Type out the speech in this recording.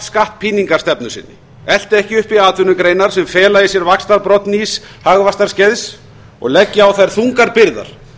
skattpíningarstefnu sinni elti ekki uppi atvinnugreinar sem fela í sér vaxtarbrodd nýs hagvaxtarskeiðs og leggi á þær þungar byrðar